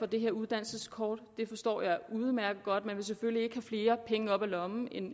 det her uddannelseskort det forstår jeg udmærket godt man vil selvfølgelig ikke have flere penge op af lommen